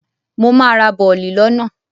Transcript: Mo máa ra bọ̀lì lọ́nà.